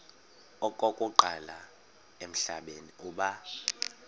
okokuqala emhlabeni uba